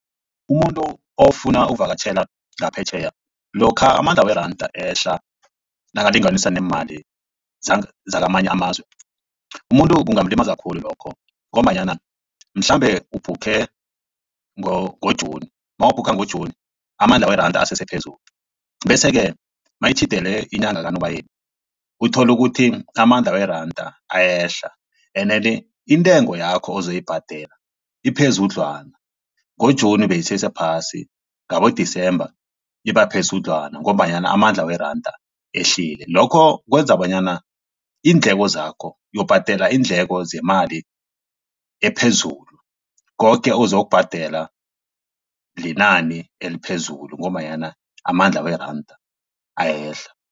Umuntu ofuna ukuvakatjhela ngaphetjheya lokha amandla weranda ehla nakalinganiswa neemali zakamanye amazwe. Umuntu kungamulimaza khulu lokho ngombanyana mhlambe ubhukhe ngo-June mawubhukha ngo-June amandla weranda asese phezulu bese ke mayitjhidelene inyanga kaNobayeni uthole ukuthi amandla weranda ayehla ene-ke intengo yakho ozoyibhadela iphezudlwana ngo-Juni beyisesephasi ngabo-December iba phezudlwana ngombanyana amandla weranda ehlile. Lokho kwenza bonyana iindleko zakho uyokubhadela iindleko zemali ephezulu koke ozokubhadela linani eliphezulu ngombanyana amandla weranda ayehla.